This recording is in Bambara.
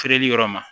Feereli yɔrɔ ma